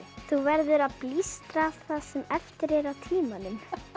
þú verður að blístra það sem eftir er af tímanum